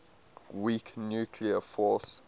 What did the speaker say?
weak nuclear force